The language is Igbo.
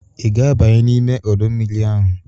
Ị ga-abanye n'ime ọdọ mmiri ahụ?